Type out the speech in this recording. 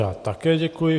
Já také děkuji.